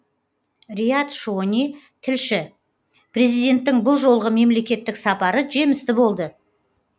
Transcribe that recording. риат шони тілші президенттің бұл жолғы мемлекеттік сапары жемісті болды